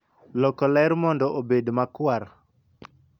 loko ler mondo obed makwar